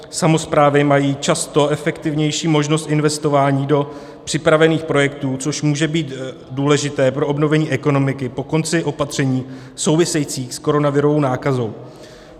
Samosprávy mají často efektivnější možnost investování do připravených projektů, což může být důležité pro obnovení ekonomiky po konci opatření souvisejících s koronavirovou nákazou.